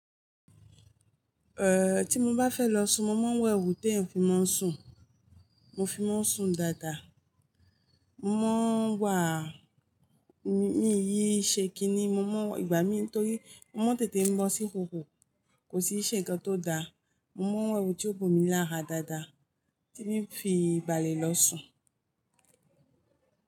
Eh, tí mo bá fẹ́ lọ sùn mo máa ń wo èwù tẹ́ eeyan fi máa ń sùn. Mo fi máa ń sùn dáadáa. Mọ́ ń wà, mi ì yí ṣẹ́ kí ni mo mọ́, ìgbà mí nítorí mọ́ mo n tètè ń bọ́ sí ìhòhò kò sì ṣe ǹnkan tó da. Mọ́ ń wo èwù tí ó bo mí lára dáadáa tíì fii balẹ̀ lọ sùn.